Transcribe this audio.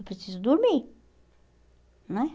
Eu preciso dormir, né?